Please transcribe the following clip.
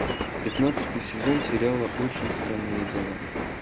пятнадцатый сезон сериала очень странные дела